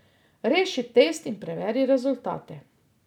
Reši test in preveri rezultate.